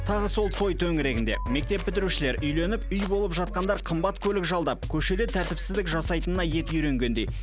тағы сол той төңірегінде мектеп бітірушілер үйленіп үй болып жатқандар қымбат көлік жалдап көшеде тәртіпсіздік жасайтынына еті үйренгендей